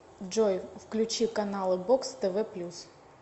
джой включи каналы бокс тв плюс